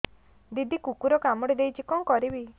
ଦିଦି କୁକୁର କାମୁଡି ଦେଇଛି କଣ କରିବି